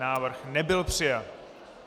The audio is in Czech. Návrh nebyl přijat.